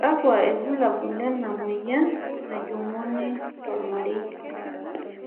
kakua irbulabol lena moyian najunguni tolmarei?